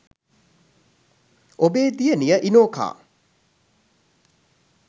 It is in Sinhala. ඔබේ දියණිය ඉනෝකා